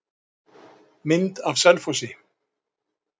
Mynd af Selfossi.